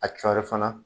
A cɔɔrɔ fana